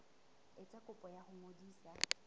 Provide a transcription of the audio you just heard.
etsa kopo ya ho ngodisa